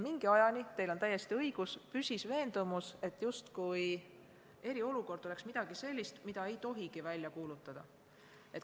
Mingi ajani, teil on täiesti õigus, püsis veendumus, justkui oleks eriolukord midagi sellist, mida ei tohigi välja kuulutada.